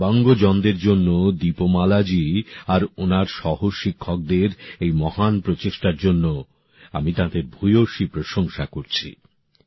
দিব্যাঙ্গজনদের জন্য দীপমালাজি আর ওনার সহ শিক্ষকদের এই মহান উদ্যোগের জন্য আমি তাঁদের ভুয়সী প্রশংসা করছি